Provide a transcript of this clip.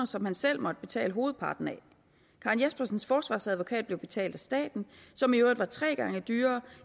som han selv måtte betale hovedparten af karen jespersens forsvarsadvokat blev betalt af staten som i øvrigt var tre gange dyrere